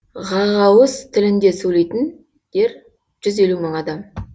ғағауыз тілінде сөйлейтіндер жүз елу мың адам